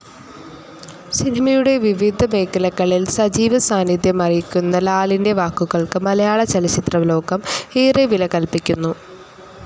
സിനിമയുടെ വിവിധ മേഖലകളിൽ സജീവ സാനിദ്ധ്യമറിയിക്കുന്ന ലാലിൻ്റെ വാക്കുകൾക്ക് മലയാളചലച്ചിത്രം ലോകം ഏറെ വില കൽപ്പിക്കുന്നു.